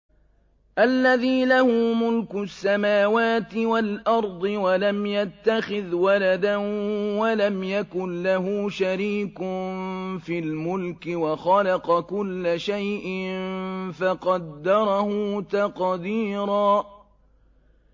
الَّذِي لَهُ مُلْكُ السَّمَاوَاتِ وَالْأَرْضِ وَلَمْ يَتَّخِذْ وَلَدًا وَلَمْ يَكُن لَّهُ شَرِيكٌ فِي الْمُلْكِ وَخَلَقَ كُلَّ شَيْءٍ فَقَدَّرَهُ تَقْدِيرًا